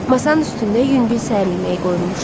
Masanın üstündə yüngül səhər yeməyi qoyulmuşdu.